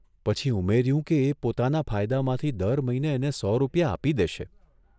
પછી ઉમેર્યું કે એ પોતાના ફાયદામાંથી દર મહિને એને સો રૂપિયા આપી દેશે.